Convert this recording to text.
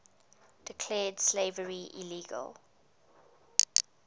declared slavery illegal